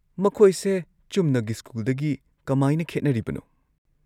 ꯃꯈꯣꯏꯁꯦ ꯆꯨꯝꯅꯒꯤ ꯁ꯭ꯀꯨꯜꯗꯒꯤ ꯀꯃꯥꯏꯅ ꯈꯦꯠꯅꯔꯤꯕꯅꯣ?